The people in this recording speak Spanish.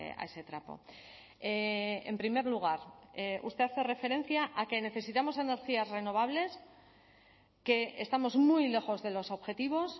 a ese trapo en primer lugar usted hace referencia a que necesitamos energías renovables que estamos muy lejos de los objetivos